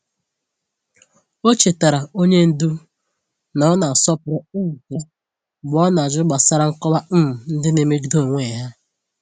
Ọ chetaara onye ndu na ọ na-asọpụrụ um ya mgbe ọ na-ajụ gbasara nkọwa um ndị na-emegide onwe ha.